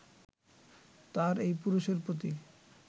তার এই পুরুষের প্রতি